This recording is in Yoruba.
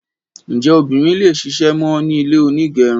Njẹ obìnrin le ṣisẹ̀mẹ́ ní ilé onígẹrun?